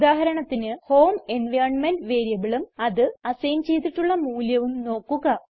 ഉദാഹരണത്തിന് home environment വേരിയബിളും അതിന് അസൈൻ ചെയ്തിട്ടുള്ള മൂല്യവും നോക്കുക